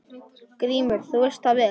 GRÍMUR: Þú veist það vel.